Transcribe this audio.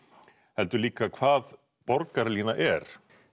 heldur líka hvað borgarlína er